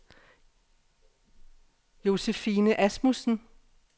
Josephine Asmussen